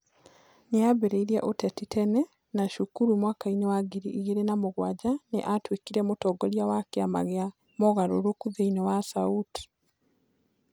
Nĩambĩrĩirie ũteti tene, na cukuru mwaka-inĩ wa ngiri igĩrĩ na mũgwanja nĩ atuĩkire mũtongoria wa kĩama gĩa mogarũrũku thĩiniĩ wa SAUT